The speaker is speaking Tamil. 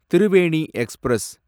திருவேணி எக்ஸ்பிரஸ்